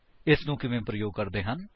ਇਸਨੂੰ ਕਿਵੇਂ ਪ੍ਰਯੋਗ ਕਰਦੇ ਹਨ